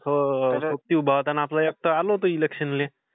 हो. उभा होता ना आपला एकटा इलेक्शनमध्ये? आलो होतो मी.